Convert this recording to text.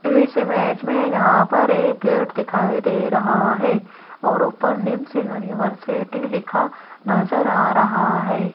इस इमेज में जहां पर एक गेट दिखाई दे रहा है और ऊपर निम्स यूनिवर्सिटी लिखा नजर आ रहा है।